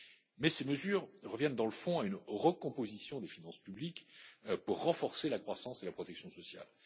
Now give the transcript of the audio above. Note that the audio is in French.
PIB. Mais ces mesures reviennent dans le fond à une recomposition des finances publiques pour renforcer la croissance et la protection sociale.